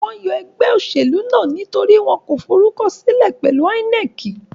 Wọ́n yọ ẹgbẹ́ òṣèlú náà nítorí wọn kò forúkọsílẹ̀ pẹ̀lu INEC.